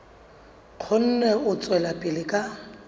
kgone ho tswela pele ka